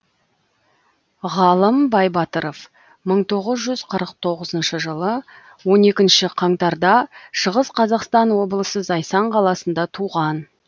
ғалым байбатыров мың тоғыз жүз қырық тоғызыншы жылы он екінші қаңтар да шығыс қазақстан облысы зайсан қаласында туған